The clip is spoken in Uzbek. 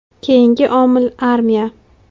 Keyingi omil – armiya.